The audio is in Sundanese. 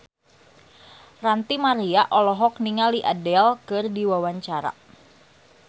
Ranty Maria olohok ningali Adele keur diwawancara